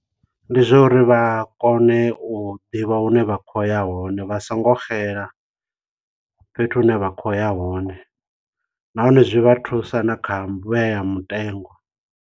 Ndi zwa uri vha kone u ḓivha hune vha khoya hone vha so ngo xela fhethu hune vha khoya hone nahone zwi vha thusa na kha vhea mutengo.